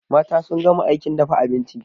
Mata sun gama aikin dafa abinci